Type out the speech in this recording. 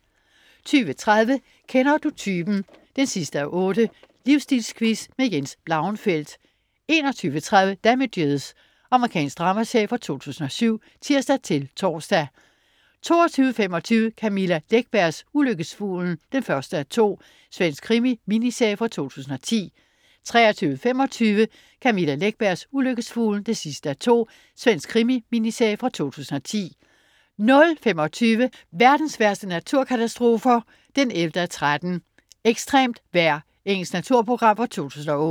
20.30 Kender du typen? 8:8. Livsstilquiz. Jens Blauenfeldt 21.30 Damages. Amerikansk dramaserie fra 2007 (tirs-tors) 22.25 Camilla Läckbergs Ulykkesfuglen 1:2. Svensk krimi-miniserie fra 2010 23.25 Camilla Läckbergs Ulykkesfuglen 2:2. Svensk krimi-miniserie fra 2010 00.25 Verdens værste naturkatastrofer 11:13. Ekstremt vejr. Engelsk naturprogram fra 2008